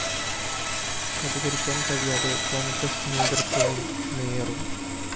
പ്രതികരിക്കാന്‍ കഴിയാതെ കോണ്‍ഗ്രസ് നേതൃത്വവും മേയറും